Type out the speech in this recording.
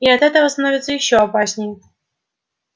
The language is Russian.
и от этого становится ещё опаснее